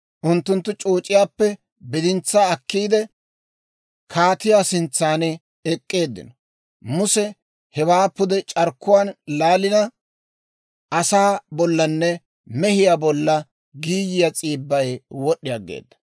Unttunttu c'ooc'iyaappe bidintsaa akkiide, kaatiyaa sintsan ek'k'eeddinno; Muse hewaa pude c'arkkuwaan laalina, asaa bollanne mehiyaa bolla giiyiyaa s'iibbay wod'd'i aggeeda.